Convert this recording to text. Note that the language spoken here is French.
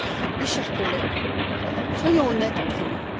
Mes chers collègues, soyons honnêtes entre nous.